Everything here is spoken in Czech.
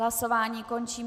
Hlasování končím.